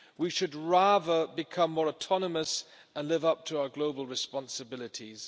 we should rather become more autonomous and live up to our global responsibilities.